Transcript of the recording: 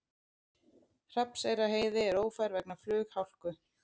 Hrafnseyrarheiði er ófær vegna flughálku